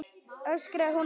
öskraði hún á móti.